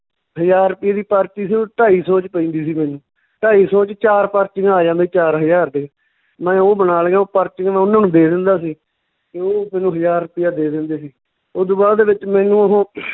ਹਜਾਰ ਰੁਪਈਏ ਦੀ ਪਰਚੀ ਸੀ ਉਹ ਢਾਈ ਸੌ ਚ ਪੈਂਦੀ ਸੀ ਮੈਨੂੰ, ਢਾਈ ਸੌ ਚ ਚਾਰ ਪਰਚੀਆਂ ਆ ਜਾਂਦੀਆਂ, ਚਾਰ ਹਜਾਰ ਦੇ, ਮੈਂ ਓਹ ਬਣਾ ਲਈਆਂ ਓਹ ਪਰਚੀਆਂ ਮੈਂ ਉਹਨਾਂ ਨੂੰ ਦੇ ਦਿੰਦਾ ਸੀ ਤੇ ਓਹ ਮੈਨੂੰ ਹਜਾਰ ਰੁਪਈਆ ਦੇ ਦਿੰਦੇ ਸੀ, ਓਦੂ ਬਾਅਦ ਦੇ ਵਿੱਚ ਮੈਨੂੰ ਓਹ